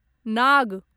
नाग